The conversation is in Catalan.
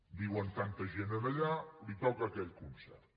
viuen tanta gent allà li toca aquell concert